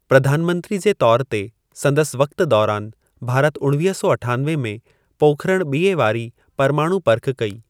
प्रधानमंत्री जे तौर ते संदसि वक़्ति दौरानि, भारत उणिवींह सौ अठानवे में पोखरणु ॿिएं वारी परमाणु पर्ख कई।